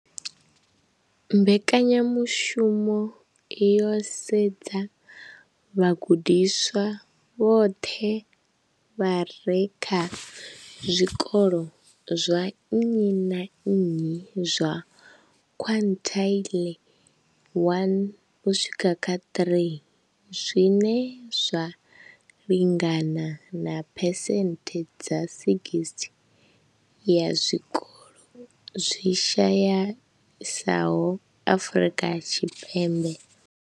Mbekanya mushumo yo sedza vhagudiswa vhoṱhe vha re kha zwikolo zwa nnyi na nnyi zwa quintile 1-3, zwine zwa lingana na phesenthe dza 60 ya zwikolo zwi shayesaho Afrika Tshipembe.